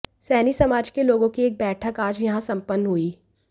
सैनी समाज के लोगों की एक बैठक आज यहां सम्पन्न हुई